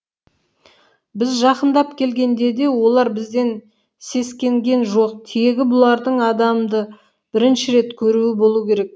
біз жақындап келгенде де олар бізден сескенген жоқ тегі бұлардың адамды бірінші рет көруі болу керек